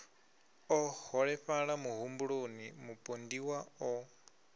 o holefhala muhumbuloni mupondiwa o